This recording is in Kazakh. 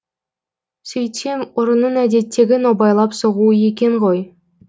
сөйтсем ұрының әдеттегі нобайлап соғуы екен ғой